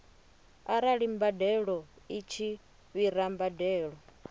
arali mbadeloi tshi fhira mbadelo